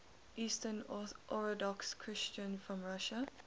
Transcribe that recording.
eastern orthodox christians from russia